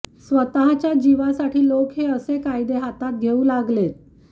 स्वतःच्या जीवासाठी लोक हे असे कायदे हातात घेऊ लागलेत